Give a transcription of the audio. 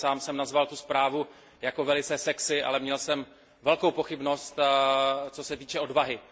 Já sám jsem nazval tu zprávu jako velice sexy, ale měl jsem velikou pochybnost, co se týče odvahy.